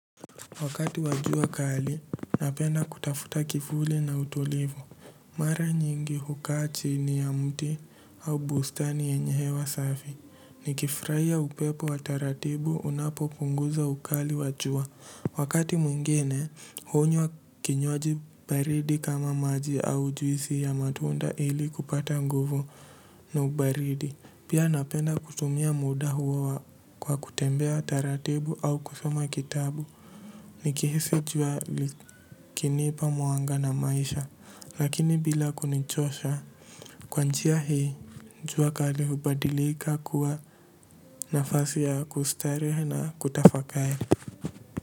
Wakati wa jua kali, napenda kutafuta kivuli na utulivu. Mara nyingi hukaa chini ya mti au bustani yenye hewa safi. Nikifurahia upepo wa taratibu unapo punguza ukali wa jua. Wakati mwingine, hunywa kinywaji baridi kama maji au juisi ya matunda ili kupata nguvu na ubaridi. Pia napenda kutumia muda huo kwa kutembea taratibu au kusoma kitabu. Nikihisi jua ikinipa mwanga na maisha, lakini bila kunichosha kwa njia hii jua kali hubadika kuwa nafasi ya kustarehe na kutafakari.